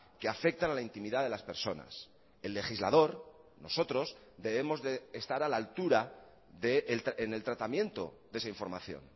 que afectan a la intimidad de las personas el legislador nosotros debemos de estar a la altura en el tratamiento de esa información